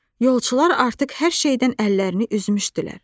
Yolçular artıq hər şeydən əllərini üzmüşdülər.